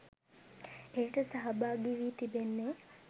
එයට සහභාගි වී තිබෙන්නේ